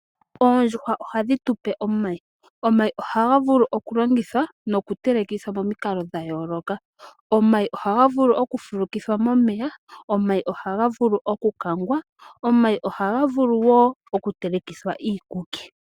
Oondjuhwa ohadhi tu pe omayi. Omayi ohaga vulu oku longithwa noku telekithwa momikalo dha yooloka. Omayi ohagavulu oku fulukithwa momeya. Omayi ohaga vulu oku kangwa. Omayi ohaga vulu wo oku telekithwa iikuki.